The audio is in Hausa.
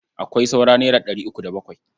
Akwai saura naira ɗari uku da bakwai.